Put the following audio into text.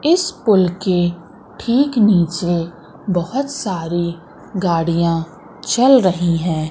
इस पुल के ठीक नीचे बहुत सारी गाड़ियां चल रही हैं।